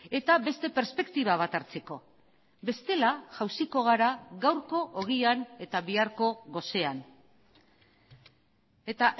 eta beste perspektiba bat hartzeko bestela jauziko gara gaurko ogian eta biharko gosean eta